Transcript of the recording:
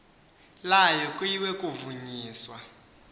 layo kuyiwe kuvunyiswa